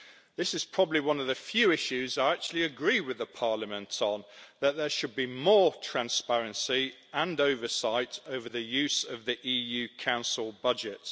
This is probably one of the few issues I actually agree with the Parliament on that there should be more transparency and oversight over the use of the EU Council budget.